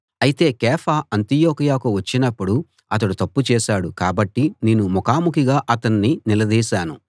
అయితే కేఫా అంతియొకయకు వచ్చినప్పుడు అతడు తప్పు చేశాడు కాబట్టి నేను ముఖాముఖిగా అతన్ని నిలదీశాను